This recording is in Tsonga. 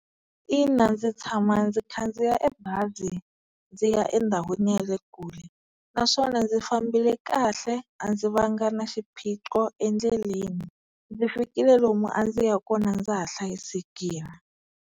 Ina ndzi tshama ndzi khandziya e bazi ndzi ya endhawini ya le kule naswona ndzi fambile kahle a ndzi va nga na xiphiqo endleleni ndzi fikile lomu a ndzi ya kona ndza ha hlayisekile.